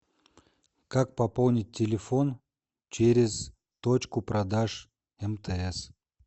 как пополнить телефон через точку продаж мтс